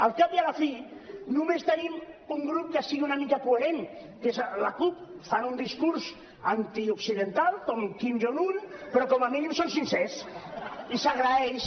al cap i a la fi només tenim un grup que sigui una mica coherent que és la cup fan un discurs antioccidental com kim jong un però com a mínim són sincers i s’agraeix